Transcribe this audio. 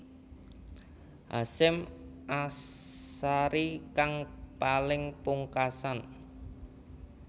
Hasyim Asharie kang paling pungkasan